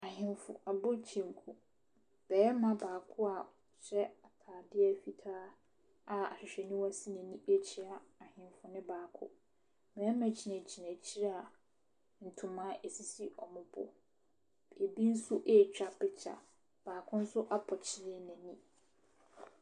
Ahemfo abɔ kyenku. Barima baako a ɔhyɛ atadeɛ fitaa a ahwehwɛniwa si n'ani rekyea ahemfo no baako. Mmarima gyinagyina akyire a ntoma sisi wɔn bo. Ɛbi nso retwa picture. Baako nso apɔkyere n'ani.